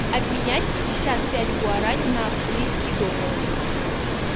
обменять пятьдесят пять гуарани на австралийские доллары